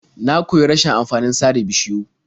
Na koyi rashin amfanin sare bishiyu.